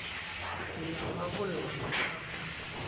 ke ke ya rarolla mathata